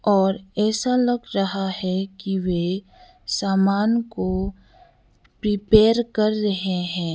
और ऐसा लग रहा है कि वे सामान को प्रिपेयर कर रहे हैं।